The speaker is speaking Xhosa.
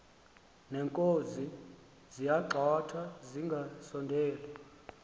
neenkozi ziyagxothwa zingasondeli